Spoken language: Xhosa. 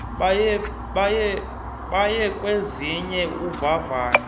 baye kwenziwa uvavanyo